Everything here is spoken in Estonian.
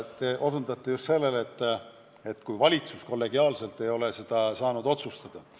Te osutasite just sellele, et valitsus kollegiaalselt ei ole saanud sellise juhtumi korral otsuseid teha.